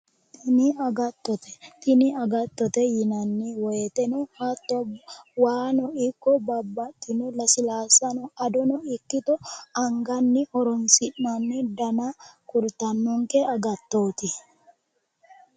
Tini agattote. Tini agattote yinanni woyite hatto waano ikko babbaxxino lasilaassa adono ikkito anganni horoonsi'nanni dana kultannonke agattooti.